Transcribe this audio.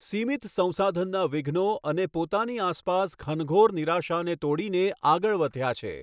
સીમિત સંસાધનનાં વિઘ્નો અને પોતાની આસપાસ ઘનઘોર નિરાશાને તોડીને આગળ વધ્યા છે.